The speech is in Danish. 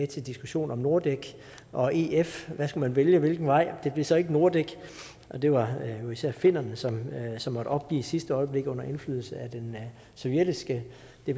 til diskussionen om nordek og ef hvad skulle man vælge hvilken vej det blev så ikke nordek og det var jo især finnerne som som måtte opgive i sidste øjeblik under indflydelse af det sovjetiske